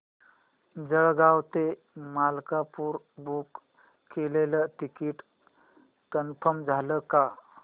जळगाव ते मलकापुर बुक केलेलं ticket confirm झालं का